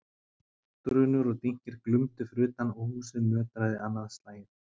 Drunur og dynkir glumdu fyrir utan og húsið nötraði annað slagið.